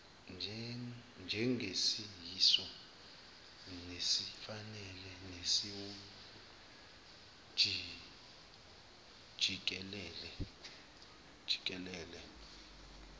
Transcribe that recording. njengesiyiso nesifanele nesiwujikelele